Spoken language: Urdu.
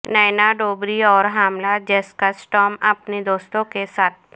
نینا ڈوبری اور حاملہ جیسکا سٹام اپنے دوستوں کے ساتھ